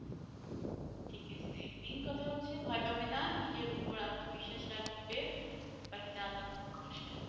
ঠিক আছে main কথা হচ্ছে ভয় পাবে না নিজের উপর আত্মবিশ্বাস রাখবে বাকিটা আল্লাহ ভরসা।